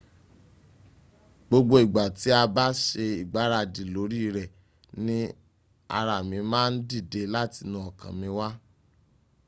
gbogbo ìgbà tí a bá se ìgbáradì lóri rẹ̀ ni ara mi ma ń dìde látinú ọkàn mi wá.